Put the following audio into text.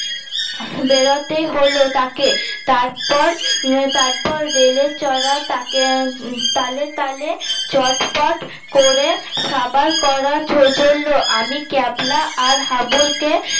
বেরোতে হল তাকে তারপর উম তারপর রেলে চড়া তাকে তালে তালে চটপট করে সাবার করা চলল আমি ক্যাবলা আর হাবুল কে